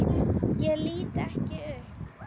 Ég lít ekki upp.